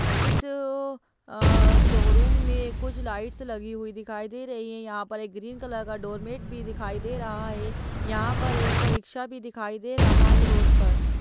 इस अ शोरूम में कुछ लाइट्स लगी हुई दिखाई दे रही है यहाँ पर एक ग्रीन कलर का डोर मेट भी दिखाई दे रहा है यहाँ पर एक रिकशा भी दिखाई दे रहा है रोड पर --